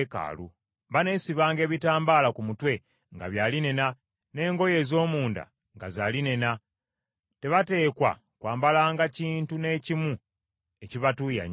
Baneesibanga ebitambala ku mutwe nga bya linena, n’engoye ez’omunda nga za linena. Tebateekwa kwambalanga kintu n’ekimu ekibatuuyanya.